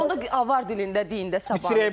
Günel xanım, onda avar dilində deyin də sabahınız xeyir.